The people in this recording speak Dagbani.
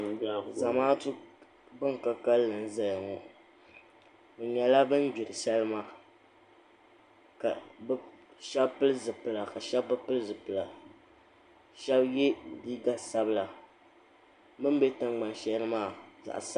Zamaatu ban ka kalli n zaya ŋɔ bɛ nyɛla ban gbiri salima ka Sheba pili zipila ka Sheba bɛ pili zipila Sheba ye liiga sabla bɛ ni be tingbani shɛli ni maa zaɣa sabila.